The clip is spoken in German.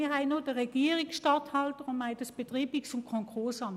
– Wir haben noch den Regierungsstatthalter und das Betreibungs- und Konkursamt.